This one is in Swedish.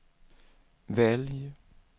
välj